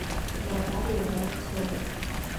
наталье воронцовой